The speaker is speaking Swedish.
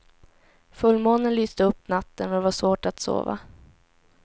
Fullmånen lyste upp natten och det var svårt att sova.